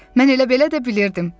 Mən elə belə də bilirdim.